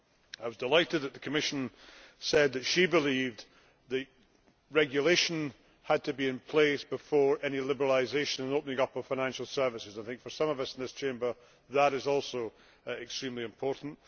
I was delighted that the Commissioner said she believed that regulation had to be in place prior to any liberalisation and opening up of financial services. For some of us in this Chamber, that is also extremely important.